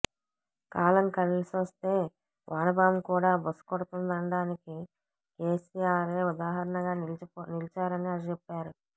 కాలం కలిసొస్తే వానపాము కూడా బుస కొడుతుందనడానికి కేసిఆరే ఉదాహరణగా నిలిచారని చెప్పారు